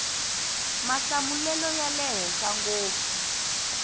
mahlamulelo ya le henhla ngopfu